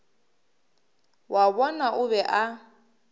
wa bona o be a